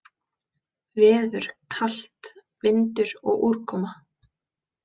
Veður: Kalt, vindur og úrkoma.